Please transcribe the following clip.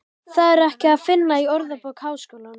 Það er ekki að finna í Orðabók Háskólans.